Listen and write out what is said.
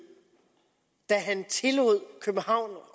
da han tillod københavns